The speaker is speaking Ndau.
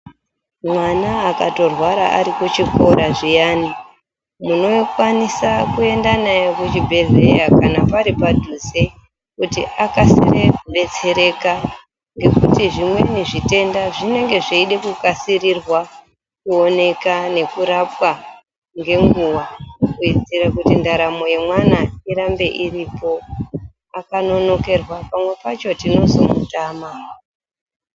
Mwana akatorwara ari kuchikora zviyani, munokwanisa kuenda naye kuchibhedhleya kana pari padhuze kuti akasire kubetsereka, ngekuti zvimweni zvitenda zvinenge zveide kukasirirwa kuoneka nekurapwa ngenguwa kuitira kuti ndaramo yemwana irambe iripo. Akanonokerwa pamwe pacho tinozomutama